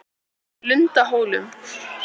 Lundahólum